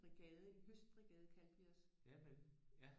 Brigade en høstbrigade kaldte vi os